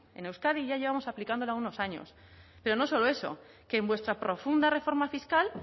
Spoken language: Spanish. en euskadi ya llevamos aplicándola unos años pero no solo eso que en vuestra profunda reforma fiscal